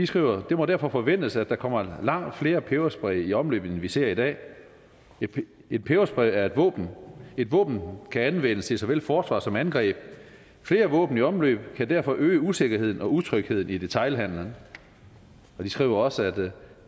skriver det må derfor forventes at der kommer langt flere peberspray i omløb end vi ser i dag en peberspray er et våben et våben kan anvendes til såvel forsvar som angreb flere våben i omløb kan derfor øge usikkerheden og utrygheden i detailhandlen de skriver også